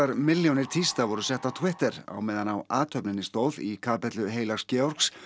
milljónir tísta voru settar á Twitter meðan á athöfninni stóð í kapellu heilags Georgs